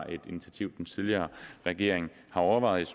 et initiativ den tidligere regering har overvejet